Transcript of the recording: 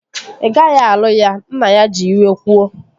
Ị gaghị alụ ya! Nna ya ji iwe kwuo